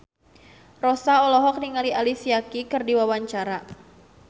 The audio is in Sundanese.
Rossa olohok ningali Alicia Keys keur diwawancara